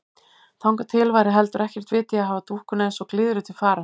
Þangað til væri heldur ekkert vit í að hafa dúkkuna eins og glyðru til fara.